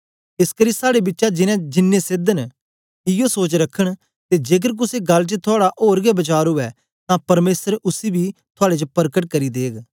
एसकरी साड़े बिचा जिनैं सेध न ईवो सोच रखन ते जेकर कुसे गल्ल च थुआड़ा ओर गै वचार उवै तां परमेसर उसी बी थुआड़े च परकट करी देग